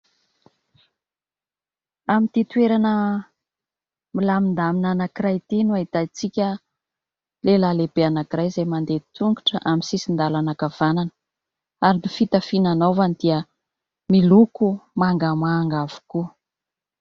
Amin'ity toerana milamindamina anankiray ity no ahitatsika lehilahy lehibe anankiray, izay mandeha tongotra amin'ny sisin-dalana ankavanana ary ny fitafy ananaovany dia miloko mangamanga avokoa.